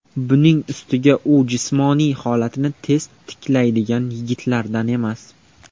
Buning ustiga u jismoniy holatini tez tiklaydigan yigitlardan emas.